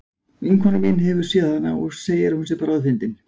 Vinkona mín hefur séð hana og segir að hún sé bráðfyndin.